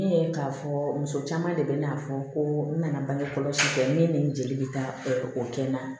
Ne ye k'a fɔ muso caman de bɛ n'a fɔ ko n nana bange kɔlɔsi fɛ min ni n jeli bɛ taa o kɛ n na